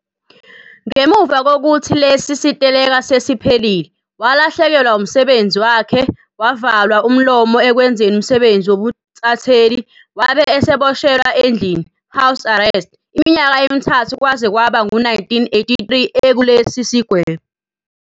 Ngemuva kokuthi lesi siteleka sesiphelile, walahlekelwe umsebenzi wakhe, wavalwa umlomo ekwenzeni umsebenzi wobuntatheli, wabe eseboshelwa endlini, house arrest, iminyaka emithathu kwaze kwaba ngu-1983 ekulesi sigwebo.